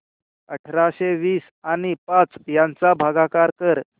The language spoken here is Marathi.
अठराशे वीस आणि पाच यांचा भागाकार कर